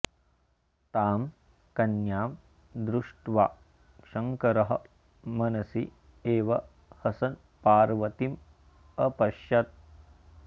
तां कन्यां दृष्ट्वा शङ्करः मनसि एव हसन् पार्वतीं अपश्यत्